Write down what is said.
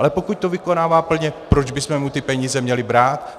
Ale pokud to vykonává plně, proč bychom mu ty peníze měli brát?